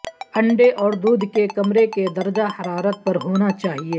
انڈے اور دودھ کے کمرے کے درجہ حرارت پر ہونا چاہئے